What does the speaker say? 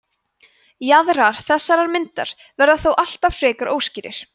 jaðrar þessarar myndar verða þó alltaf frekar óskýrir